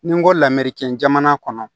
Ni n ko lamɛri kɛ jamana kɔnɔ